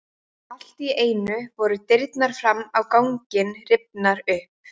Allt í einu voru dyrnar fram á ganginn rifnar upp.